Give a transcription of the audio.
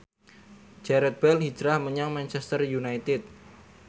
Gareth Bale hijrah menyang Manchester united